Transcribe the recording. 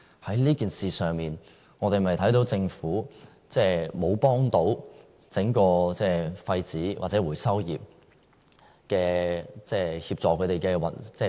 在這件事上，我們有否看到政府並沒有協助廢紙或回收業運作？